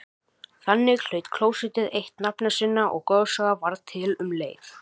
Þannig hlaut klósettið eitt nafna sinna og goðsaga varð til um leið.